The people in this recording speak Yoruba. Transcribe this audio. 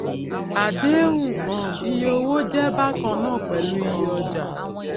àdéhùn um iye owó jé bákan náà pèlú iyé ọjà